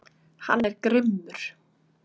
Hann er grimmur.